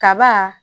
Kaba